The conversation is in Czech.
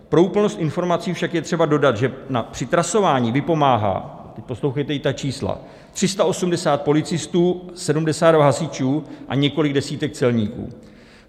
Pro úplnost informací však je třeba dodat, že při trasování vypomáhá - poslouchejte i ta čísla - 380 policistů, 72 hasičů a několik desítek celníků.